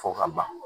Fɔ ka ban